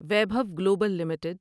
Vaibhav global limited